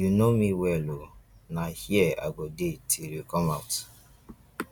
you no know me well oo na here i go dey till you come out